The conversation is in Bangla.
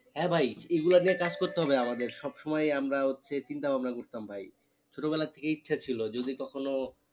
হ্যাঁ ভাই এই গুলো নিয়ে কাজ করতে হবে আমাদের সব সময়ই আমরা হচ্ছে চিন্তা ভাবনা করতাম ভাই ছোটো বেলা থেকে ইচ্ছা ছিলো যদি কখনো